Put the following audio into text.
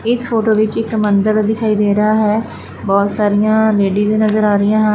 ਇਸ ਫੋਟੋ ਵਿੱਚ ਇੱਕ ਮੰਦਰ ਦਿਖਾਈ ਦੇ ਰਹਾ ਹੈ ਬਹੁਤ ਸਾਰੀਆਂ ਲੇਡੀਜ ਨਜ਼ਰ ਆ ਰਹੀਆਂ ਹਨ।